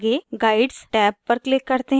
आगे guides tab पर click करते हैं